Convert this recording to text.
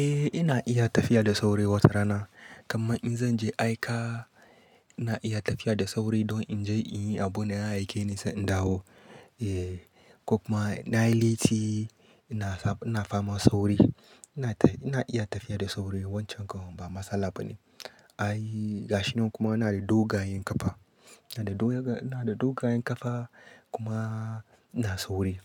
Eh ina iya tafiya da sauri wata rana. Kamman in zan je aika, ina iya tafiya da sauri don in je in yi abun da ya aike ni, sai in dawo. Eh, ko kuma na yi letti, ina faman sauri. Ina iya tafiya da sauri wancan ga ba matsala ba ne. Ai gashinan kuma ina da dogayen ƙafa, ina da do ina da dogayen ƙafa kuma ina sauri.